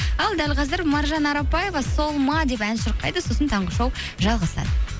ал дәл қазір маржан арапбаева сол ма деп ән шырқайды сосын таңғы шоу жалғасады